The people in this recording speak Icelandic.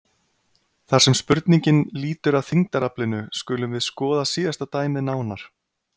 Þar sem spurningin lýtur að þyngdaraflinu skulum við skoða síðasta dæmið nánar.